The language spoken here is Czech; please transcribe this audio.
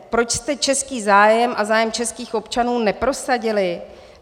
Proč jste český zájem a zájem českých občanů neprosadili?